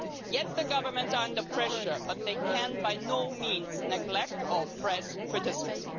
Yes, the governments are under pressure, but they can by no means neglect or oppress criticism.